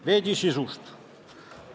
Veidi sisust.